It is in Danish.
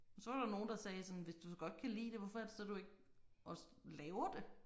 Så var der nogen der sagde sådan hvis du så godt kan lide det hvorfor er det så du ikke også laver det